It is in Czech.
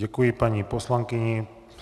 Děkuji paní poslankyni.